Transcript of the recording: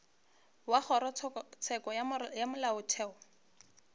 wa kgorotsheko ya molaotheo o